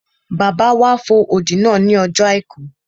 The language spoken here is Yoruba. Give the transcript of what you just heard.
Bàbá wa fo odi náà ní ọjọ́ àìkú